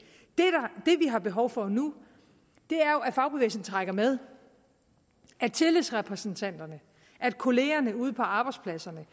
har behov for nu er jo at fagbevægelsen trækker med at tillidsrepræsentanterne at kollegaerne ude på arbejdspladserne